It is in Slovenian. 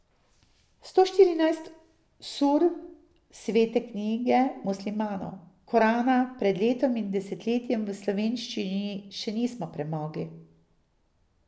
Sto štirinajst sur svete knjige muslimanov, Korana, pred letom in desetletjem v slovenščini še nismo premogli.